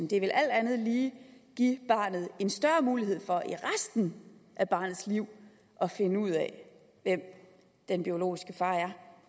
det vil alt andet lige give barnet en større mulighed for i resten af barnets liv at finde ud af hvem den biologiske far er